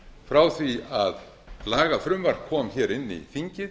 frá því lagafrumvarp kom hér inn í þingið